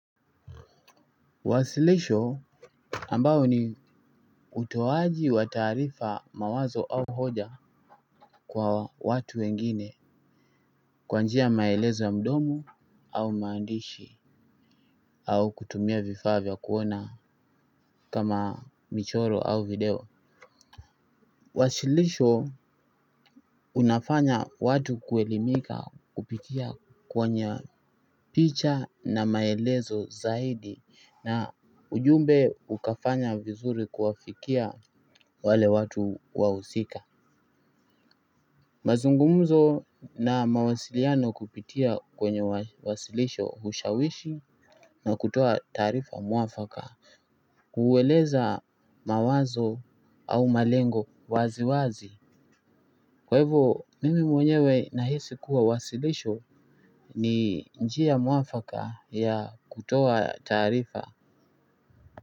Wasilisho ambao ni utoaji wa taarifa mawazo au hoja kwa watu wengine kwa njia ya maelezo ya mdomo au maandishi au kutumia vifaa vya kuona kama michoro au video wasilisho unafanya watu kuelimika kupitia kwenye picha na maelezo zaidi na ujumbe ukafanya vizuri kuwafikia wale watu wahusika mazungumzo na mawasiliano kupitia kwenye wasilisho hushawishi na kutoa taarifa mwafaka kueleza mawazo au malengo wazi wazi kwa hivo mimi mwenyewe nahisi kuwa wasilisho ni njia mwafaka ya kutoa taarifa.